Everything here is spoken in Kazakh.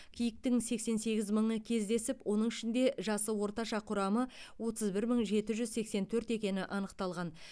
киіктің сексен сегіз мыңы кездесіп оның ішінде жасы орташа құрамы отыз бір мың жеті жүз сексен төрт екені анықталған